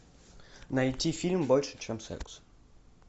найти фильм больше чем секс